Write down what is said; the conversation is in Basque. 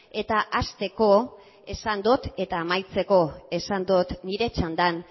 eta hasteko esan dut eta amaitzeko esan dut nire txandan